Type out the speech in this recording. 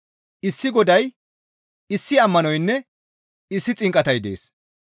Issi Goday, issi ammanoynne issi xinqatay dees.